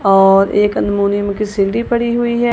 और एक अनमोनियम की सीढ़ी पड़ी हुई है।